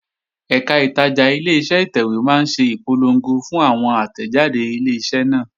Ẹ̀kà ìtajà Ileṣẹ́ ìtẹ̀wé máa ń ṣe ìpolongo fún àwọn àtẹ̀jáde Ileṣẹ́ náà